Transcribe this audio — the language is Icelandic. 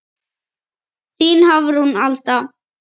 Þín Hafrún Alda.